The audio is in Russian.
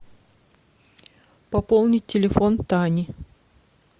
пополнить телефон тани